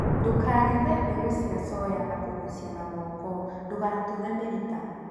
ndũkagethe mbegũ cia soya na kũgucia na moko ndũgatuthe mĩrita